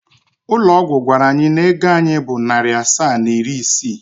Ụlọ ọgwụ gwara anyị na ego anyị bụ narị asaa na iri isii.